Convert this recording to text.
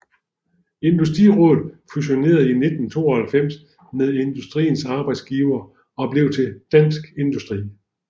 Industrirådet fusionerede i 1992 med Industriens Arbejdsgivere og blev til Dansk Industri